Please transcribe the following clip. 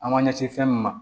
An b'an ɲɛsin fɛn min ma